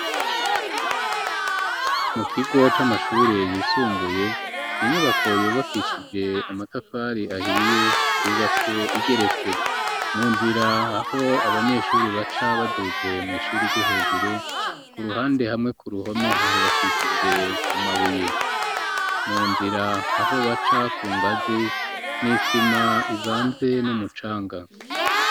Mu kigo c'amashuri yisumbuye inyubako yubakishije amatafari ahiye yubatse igeretse mu nzira aho abanyeshuri baca baduze mw'ishuri ryo hejuru ku ruhande hamwe ku ruhome hubakishije amabuye mu nzira aho baca ku ngazi n'isima ivanze n'umucanga.